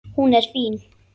Hún er fín.